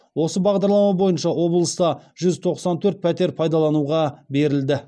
осы бағдарлама бойынша облыста жүз тоқсан төрт пәтер пайдалануға берілді